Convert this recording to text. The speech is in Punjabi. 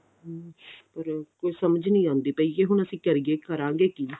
hm ਅਰ ਕੁੱਝ ਸਮਝ ਨਹੀਂ ਆਉਂਦੀ ਪਈ ਕੀ ਹੁਣ ਅਸੀਂ ਕਰੀਏ ਕਰਾਂਗੇ ਕੀ